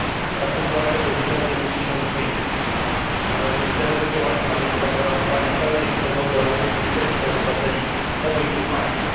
Ta sytuacja bezwzględnie musi się zmienić, należy wytężyć działania na rzecz zagwarantowania pełnej swobody oraz bezpieczeństwa obywateli obydwu państw.